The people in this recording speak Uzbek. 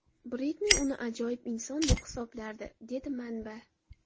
Britni uni ajoyib inson deb hisoblardi”, dedi manba.